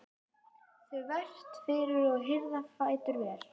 þvert fyrir og hirða fætur vel.